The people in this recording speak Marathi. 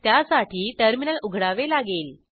त्यासाठी टर्मिनल उघडावे लागेल